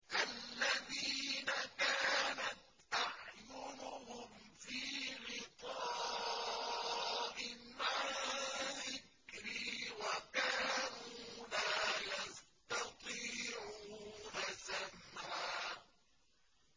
الَّذِينَ كَانَتْ أَعْيُنُهُمْ فِي غِطَاءٍ عَن ذِكْرِي وَكَانُوا لَا يَسْتَطِيعُونَ سَمْعًا